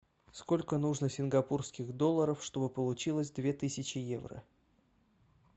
сколько нужно сингапурских долларов чтобы получилось две тысячи евро